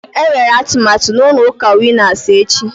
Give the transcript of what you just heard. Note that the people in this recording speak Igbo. Enwere atụmatụ na ụlọ ụka Winas echi